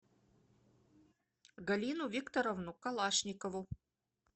галину викторовну калашникову